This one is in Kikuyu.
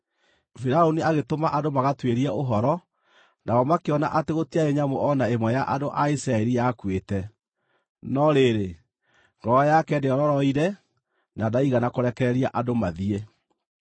Firaũni agĩtũma andũ magatuĩrie ũhoro, nao makĩona atĩ gũtiarĩ nyamũ o na ĩmwe ya andũ a Isiraeli yakuĩte. No rĩrĩ, ngoro yake ndĩororoire na ndaigana kũrekereria andũ mathiĩ.